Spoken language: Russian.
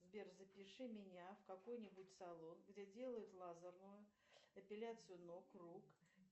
сбер запиши меня в какой нибудь салон где делают лазерную эпиляцию ног рук